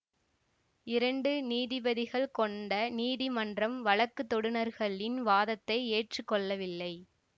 இரண்டு நீதிபதிகள் கொண்ட நீதிமன்றம் வழக்குத்தொடுநர்களின் வாதத்தை ஏற்று கொள்ளவில்லை